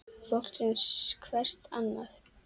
Fólk sem sér hvert annað.